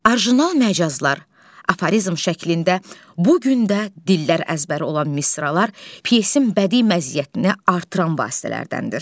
Orijinal məcazlar, aforizm şəklində bu gün də dillər əzbəri olan misralar pyesin bədii məziyyətini artıran vasitələrdəndir.